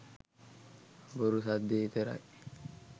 බොරු සද්දෙ විතරයි.